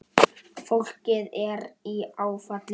Fólkið er í áfalli.